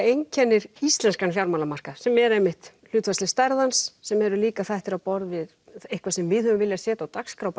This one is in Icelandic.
einkenni íslenska fjármálamarkað sem er einmitt hlutfallsleg stærð hans sem eru líka þættir á borð við eitthvað sem við höfum viljað setja á dagskrá